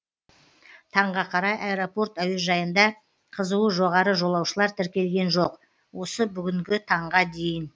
таңға қарай аэропорт әуежайында қызуы жоғары жолаушылар тіркелген жоқ осы бүгінгі таңға дейін